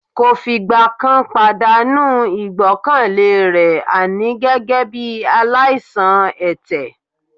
Kò fìgbà kan pàdánù ìgbọ́kànlé rẹ̀ àní gẹ́gẹ́ bí aláìsàn ẹ̀tẹ̀